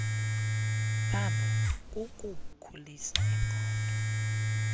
phambo kukukhulisa iingqondo